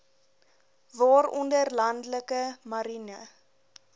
waaronder landelike marine